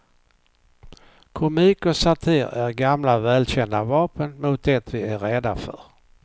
Komik och satir är gamla välkända vapen mot det vi är rädda för.